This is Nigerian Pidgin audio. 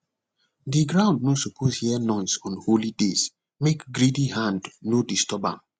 the ground no suppose hear noise on holy days make greedy hand no disturb am